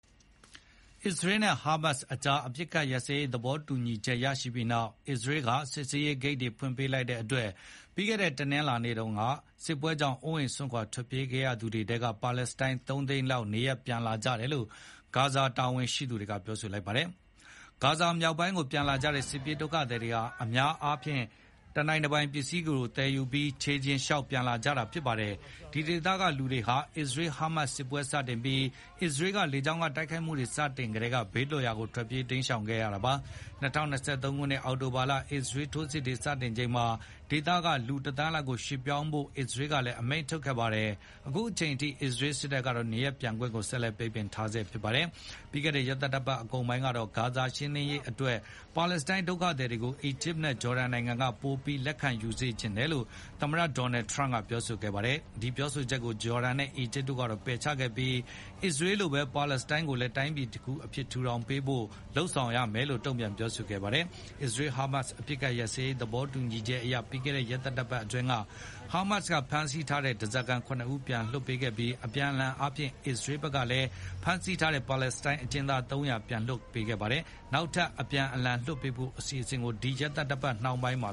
အစ္စရေးနဲ့ဟာမတ်စ်ကြား အပစ်အခတ်ရပ်ရေးသဘောတူညီချက်ရပြီးနောက် အစ္စရေးက စစ်ဆေးရေး ဂိတ်တွေ ဖွင့်ပေးလိုက်တဲ့အတွက် ပြီးခဲ့တဲ့တနင်္လာနေ့တုန်းက စစ်ပွဲကြောင့် အိုးအိမ်စွန့်ခွါ ထွက်ပြေးခဲ့ရ သူတွေထဲက ပါလက်စတိုင်းသုံးသိန်းလောက် နေရပ်ပြန်လာကြတယ်လို့ ဂါဇာတာဝန်ရှိသူတွေက ပြောပါတယ်။ ဂါဇာမြောက်ပိုင်းကို ပြန်လာကြတဲ့စစ်ပြေးဒုက္ခသည်တွေဟာ အများအားဖြင့် တနိုင်တပိုင်ပစ္စည်းတွေ သယ်ယူပြီး ချေလျင်လျှောက်ပြန်လာကြတာဖြစ်ပါတယ်။ ဒီဒေသကလူတွေဟာ အစ္စရေး-ဟာမတ် စစ်ပွဲတွေစတင်ပြီး အစ္စရေးက လေကြောင်းတိုက်ခိုက်မှုတွေစတင်ကတည်းက ဘေးလွတ်ရာကို ထွက်ပြေးတိမ်းရှောင်ခဲ့ရတာဖြစ်ပါတယ်။ ၂၀၂၃ ခုနှစ်အောက်တိုဘာလ အစ္စရေးထိုးစစ်တွေ စတင်ချိန်မှာ ဒီဒေသက လူတသန်းလောက်ကိုရွှေ့ပြောင်းကြဖို့ အစ္စရေးကလည်းအမိန့်ထုတ်ခဲ့ပါတယ်။ အခုအချိန်အထိအစ္စရေးစစ်တပ်ကတော့ နေရပ်ပြန်ခွင့် ဆက်လက်ပိတ်ပင် ထားဆဲဖြစ်ပါတယ်။ ပြီးခဲ့တဲ့ရက်သတ္တပတ်အကုန်ပိုင်းတုန်းကတော့ ဂါဇာဒေသရှင်းလင်းရေးအတွက် ပါလက်စတိုင်း ဒုက္ခသည်တွေကို အီဂျစ်နဲ့ ဂျော်ဒန်နိုင်ငံတွေက ပိုပြီးလက်ခံယူစေချင်တယ်လို့ သမ္မတဒေါ်နယ်ထရန့်က ပြောခဲ့ပါတယ်။ ဒီပြောဆိုချက်ကို ဂျော်ဒန်နဲ့ အီဂျစ်တို့ကတော့ပယ်ချခဲ့ပြီး အစ္စရေးလိုပဲ ပါလက်စတိုင်း ကိုလည်း တိုင်းပြည်တခုအဖြစ် ထူထောင်ပေးဖို့ကိုသာ လုပ်ဆောင်ရမှာလို့ တုန့်ပြန်ပြောဆိုခဲ့ပါတယ်။ အစ္စရေး-ဟာမတ်စ် အပစ်အခတ်ရပ်စဲရေးသဘောတူညီချက်အရ ပြီးခဲ့တဲ့ရက်သတ္တပတ်အတွင်း ဟာမတ်စ်က ဖမ်းဆီးထားတဲ့ဓားစာခံတွေထဲက ၇ ဦးကိုပြန်လွှတ်ပေးခဲ့ပြီး အပြန်အလှန်အားဖြင့် အစ္စရေးကလည်း ဖမ်းဆီးထားတဲ့ ပါလက်စတိုင်းအကျဉ်းသား ၃၀၀ ကိုပြန်လွှတ်ပေးခဲ့ပါတယ်။ နောက်ထပ် အပြန်အလှန်လွှတ်ပေးဖို့ ဒီရက်သတ္တပတ်နှောင်းပိုင်းမှ